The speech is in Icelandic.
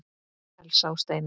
Elsa og Steina.